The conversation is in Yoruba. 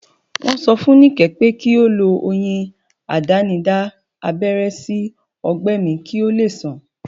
Wọ́n sọ fún Nike pé kí ó lo oyin àdánidá abẹ́rẹ́ sí ọgbẹ́ mi kí ó lè sàn